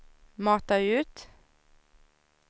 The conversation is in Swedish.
mata ut